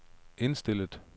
indstillet